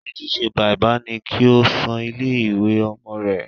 Ojúse bàbá ni kí ó san owó ilé ìwé Ọmọ